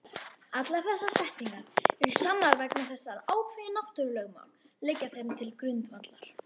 Allar þessar setningar eru sannar vegna þess að ákveðin náttúrulögmál liggja þeim til grundvallar.